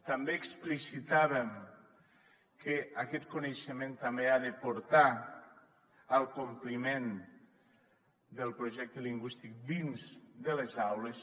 també explicitàvem que aquest coneixement també ha de portar al compliment del projecte lingüístic dins de les aules